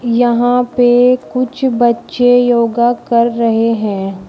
यहां पे कुछ बच्चे योगा कर रहे हैं।